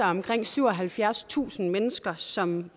omkring syvoghalvfjerdstusind mennesker som